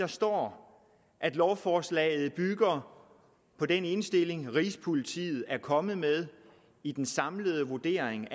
står at lovforslaget bygger på den indstilling rigspolitiet er kommet med i den samlede vurdering